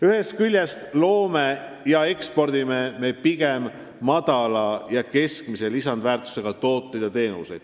Ühest küljest me loome ja ekspordime pigem väikese ja keskmise lisandväärtusega tooteid ja teenuseid.